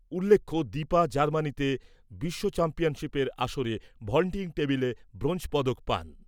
উল্লেখ্য, দীপা জার্মানিতে বিশ্ব চ্যাম্পিয়নশিপের আসরে ভল্টিং টেবিলে ব্রোঞ্জ পদক পান।